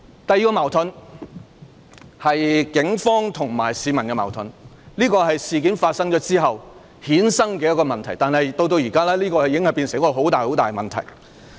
第二個矛盾是警方與市民之間的矛盾，這是在事件發生後衍生的問題，但至今已成為一個重大問題。